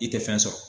I tɛ fɛn sɔrɔ